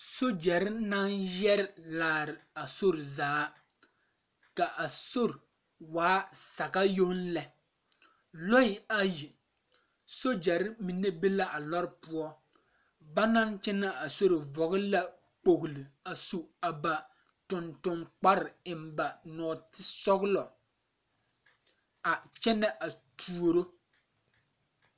Sogyɛre naŋ yɛre laare a sori zaa ka a sori waa saga yoŋ lɛ lɔɛ ayi sogyɛrre mine be la a lɔre poɔ ba naŋ kyɛnɛ a sori vɔgle la kpogle su a ba tonton kpare eŋ ba nɔɔtisɔglɔ a kyɛnɛ a tuoro.